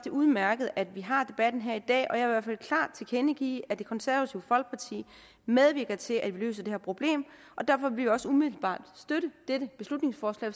er udmærket at vi har debatten her i dag og jeg hvert fald klart tilkendegive at det konservative folkeparti medvirker til at løse det her problem og derfor vil vi også umiddelbart støtte dette beslutningsforslag